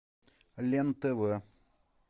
лен тв